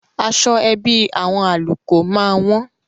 Aṣọ ẹbí àwọn Àlùkò máa wọ́n.